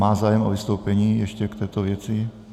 Má zájem o vystoupení ještě k této věci?